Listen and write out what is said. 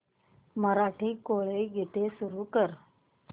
मराठी कोळी गीते सुरू कर